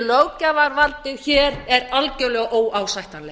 löggjafarvaldið hér er algjörlega óásættanlegt